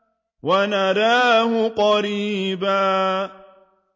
وَنَرَاهُ قَرِيبًا